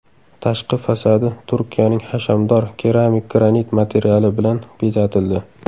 Tashqi fasadi Turkiyaning hashamdor keramik granit materiali bilan bezatildi.